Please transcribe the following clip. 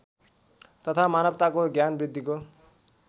तथा मानवताको ज्ञानवृद्धिको